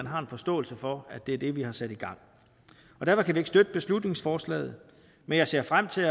har en forståelse for at det er det vi har sat i gang derfor kan vi ikke støtte beslutningsforslaget men jeg ser frem til